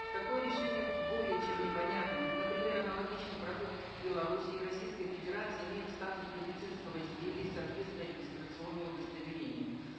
такое решение более чем непонятно ведь например аналогичный продукт в беларуси и российской федерации имеет статус медицинского изделия и соответственное регистрационное удостоверение